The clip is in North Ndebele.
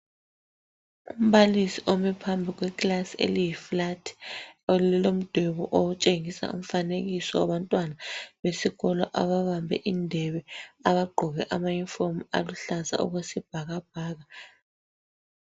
Umbalisi ome phambi kwekilasi eliyi"flat",elilomdwebo otshengisa umfanekiso wabantwana besikolo ababambe indebe, abagqoke amayunifomu aluhlaza okwesibhakabhaka